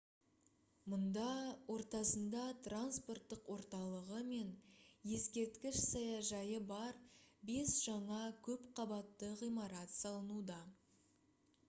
мұнда ортасында транспорттық орталығы мен ескерткіш саяжайы бар бес жаңа көп қабатты ғимарат салынуда